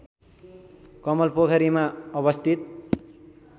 कमलपोखरीमा अवस्थित